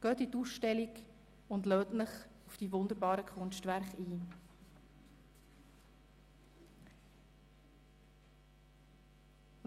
Besuchen Sie die Ausstellung und lassen Sie sich auf die wunderbaren Kunstwerke ein!